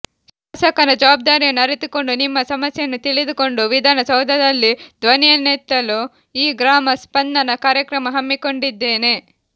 ಶಾಸಕನ ಜವಬ್ದಾರಿಯನ್ನು ಅರಿತುಕೊಂಡು ನಿಮ್ಮ ಸಮಸ್ಯೆಯನ್ನು ತಿಳಿದುಕೊಂಡು ವಿಧಾನ ಸೌಧದಲ್ಲಿ ಧ್ಬನಿಯೆತ್ತಲು ಈ ಗ್ರಾಮ ಸ್ಪಂದನ ಕಾರ್ಯಕ್ರಮ ಹಮ್ಮಿಕೊಂಡಿದ್ದೇನೆ